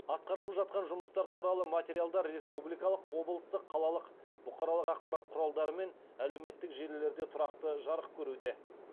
атқарылып жатқан жұмыстар туралы материалдар республикалық облыстық қалалық бұқаралық ақпарат құралдары мен әлеуметтік желілерде тұрақты жарық көруде